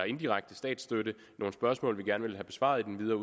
indirekte statsstøtte nogle spørgsmål vi gerne vil have besvaret i den videre